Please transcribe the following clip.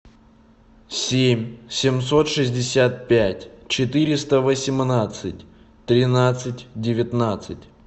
семь семьсот шестьдесят пять четыреста восемнадцать тринадцать девятнадцать